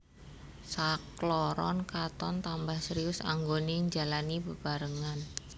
Sakloron katon tambah serius anggoné njalani bebarengan